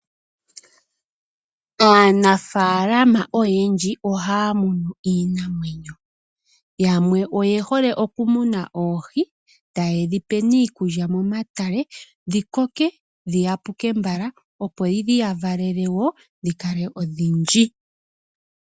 Aanafalama oyendji ohaya munu iinamwenyo. Yamwe oyehole okumuna oohi, taye dhipe iikulya momatale, dhikoke dhi yapuke mbala, opo dhi yavalele wo dhikale odhindji.